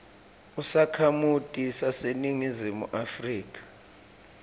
usakhamuti saseningizimu afrika